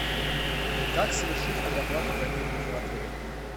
как совершить предоплату бронирования в отеле